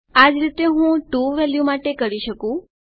આ જ રીતે હું ટીઓ વેલ્યુ માટે કરી શકું